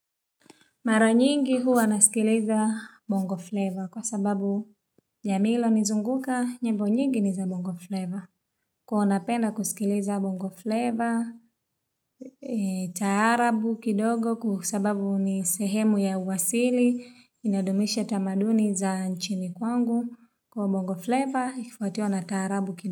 Mara nyingi huwa nasikiliza bongo flavar kwa sababu ya milo nizunguka nyimbo zake nyingi ni za bongo flavor. Kwa hiyo ninapenda kusikiliza bongo flavor, taarabu kidogo kwa sababu ni sehemu ya uwasili, inadumisha tamaduni za nchini kwangu. Kwa bongo flavor, ikifuatiwa na taarabu kidogo.